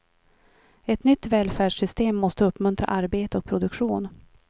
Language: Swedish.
Ett nytt välfärdssystem måste uppmuntra arbete och produktion.